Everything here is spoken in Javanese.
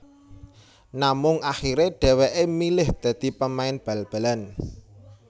Namung akhirè dhèwèkè milih dadi pemain bal balan